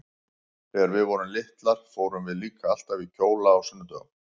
Þegar við vorum litlar fórum við líka alltaf í kjóla á sunnudögum.